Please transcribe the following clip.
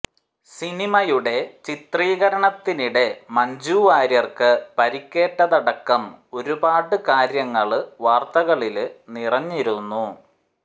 സിനിമയുടെ ചിത്രീകരണത്തിനിടെ മഞ്ജു വാര്യര്ക്ക് പരിക്കേറ്റതടക്കം ഒരുപാട് കാര്യങ്ങള് വാര്ത്തകളില് നിറഞ്ഞിരുന്നു